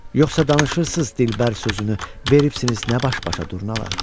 Yoxsa danışırsız dilbər sözünü, veribsizin nə baş-başa durnalar.